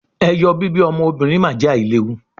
eyo bibi ọmọ obinrin ma je ailewu